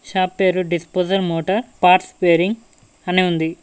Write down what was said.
Shop పేరు disposal motor parts bearing అని ఉంది.